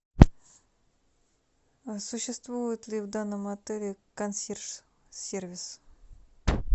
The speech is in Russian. существует ли в данном отеле консьерж сервис